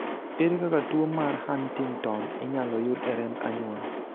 ere kaka tuo mar Huntington inyalo yud e remb anyuola?